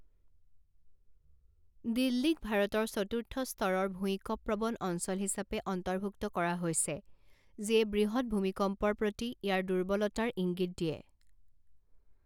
দিল্লীক ভাৰতৰ চতুৰ্থ স্তৰৰ ভূঁইকঁপ প্ৰৱণ অঞ্চল হিচাপে অন্তৰ্ভুক্ত কৰা হৈছে যিয়ে বৃহৎ ভূমিকম্পৰ প্ৰতি ইয়াৰ দুৰ্বলতাৰ ইংগিত দিয়ে।